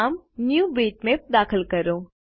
નામ ન્યૂબિટમેપ દાખલ કરો